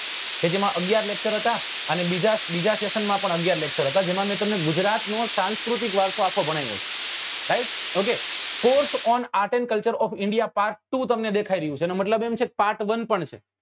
કે જેમાં અગિયાર lecture હતા અણી બીજા બીજા section માં પણ અગિયાર lecture હતા જેમાં મેં તમને ગુજરાત નો સંસ્કૃતિક વારસો આખો ભણાવ્યો છે right okcourse on art and culture part two તમને દેખાઈ રહ્યું છે એનો મતલબ એમ છે કે part one પણ છે